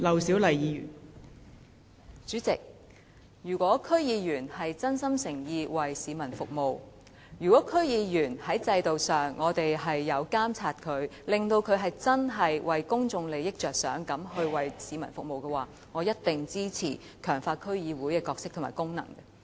代理主席，如果區議員是真心誠意地服務市民的話，如果區議員在制度上可以被監察，確保他們會真正以公眾利益為本地服務市民的話，我一定會支持強化區議會的角色和功能。